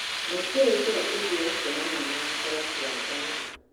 Matiũĩ njĩra ĩngĩ ya kuonania marakara tiga mbara